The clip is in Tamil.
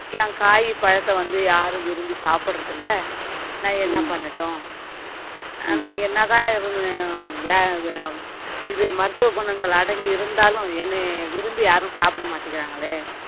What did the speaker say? என் காய், பழத்தை வந்து யாரும் விரும்பி சாப்பிடுறது இல்ல நான் என்ன பண்ணட்டும் ஆனா என்னதான் இவங்க வே~ வே~ இது மருத்துவ குணங்கள் அடங்கி இருந்தாலும் என்னைய விரும்பி யாரும் சாப்பிட மாட்டேங்கிறாங்களே